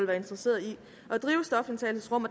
være interesseret i at drive stofindtagelsesrum